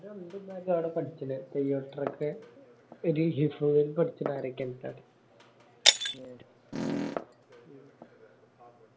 ആട പഠിക്കണെ തെയ്യോട്ടരക്ക് ഒരു ഹിഫ്‌ലിനു പഠിക്കണ ആരൊക്കെ ഇണ്ട് ട്ടാ